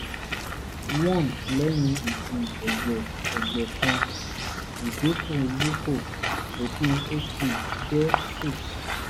1 lẹ́yìn ìdì ẹ̀jẹ̀ ẹ̀jẹ̀ kan (ìdínkù leuco) (ìpín hb jẹ́ 6